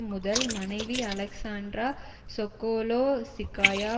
முதல் மனைவி Alexandra Sokolovskaya